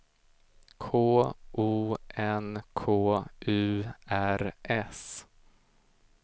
K O N K U R S